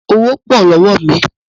Owó pọ̀ lọ́wọ́ mi